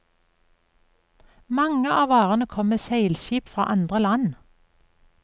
Mange av varene kom med seilskip fra andre land.